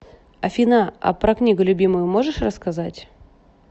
афина а про книгу любимую можешь рассказать